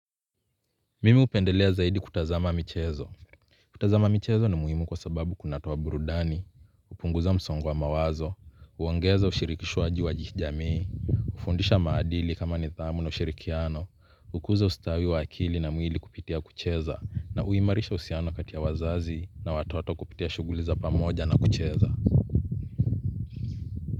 Mimi upendelea zaidi kutazama michezo. Kutazama michezo ni muhimu kwa sababu kunatoa burudani. Hpunguza msongo wa mawazo, huongeza ushirikishawaji wa jamii. Ufundisha maadili kama ni thamu na ushirikiano, hukuza ustawi wa akili na mwili kupitia kucheza, na huimarisha uhusiano kati ya wazazi na watoto kupitia shughuli za pamoja na kucheza.